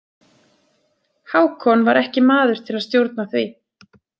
Hákon var ekki maður til að stjórna því.